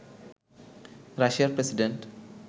রাশিয়ার প্রেসিডেন্ট